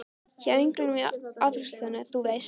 Hjá englinum í afgreiðslusalnum, þú veist.